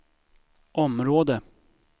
område